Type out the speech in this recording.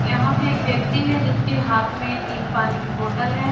यहाँ पे एक व्यक्ति है जिसके हाथ में एक पानी कि बोटल है।